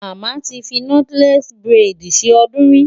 Màmá ti fi nọ́tílẹ́ẹ̀sì búrẹ́dì ṣe ọdún rí.